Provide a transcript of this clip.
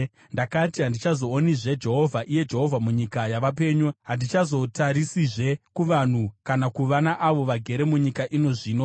Ndakati, “Handichazoonizve Jehovha, iye Jehovha, munyika yavapenyu; handichazotarisizve kuvanhu kana kuva naavo vagere munyika ino zvino.